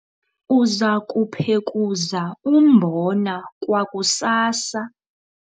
uza kuphekuza umbona kwakusasa